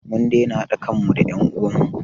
Mun daina haɗa kan mu da en uwan mu